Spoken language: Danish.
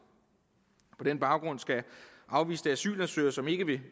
på den baggrund skal afviste asylansøgere som ikke vil